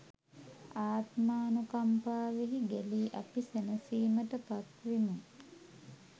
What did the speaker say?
ආත්මානුකම්පාවෙහි ගැලී අපි සැනසීමට පත් වෙමු.